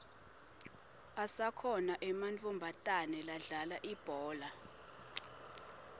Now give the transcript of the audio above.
asakhona ematfomatana ladlala ibhola